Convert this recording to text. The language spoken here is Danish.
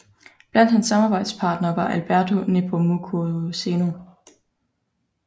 Blandt hans samarbejdspartnere var Alberto Nepomuceno